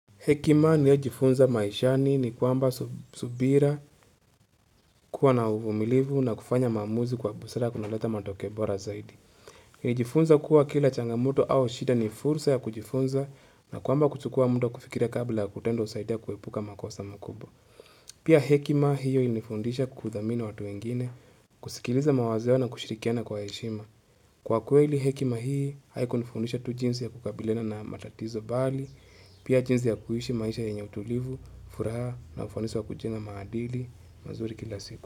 Hekima ninayo jifunza maishani ni kwamba subira kuwa na uvumilivu na kufanya maamuzi kwa busara kunaleta matokeo bora zaidi. Jifunza kuwa kila changamoto au shida ni fursa ya kujifunza na kwamba kuchukua muda kufikira kabla ya kutenda husaidia kuepuka makosa makubwa. Pia hekima hiyo ilinifundisha kudhamini watu wengine, kusikiliza mawazo yao na kushirikiana kwa heshima. Kwa kweli hekima hii, haikunifundisha tu jinsi ya kukabiliana na matatizo bali, pia jinsi ya kuishi maisha yenye utulivu, furaha na ufanisa wa kujenga maadili, mazuri kila siku.